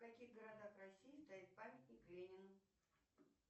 в каких городах россии стоит памятник ленину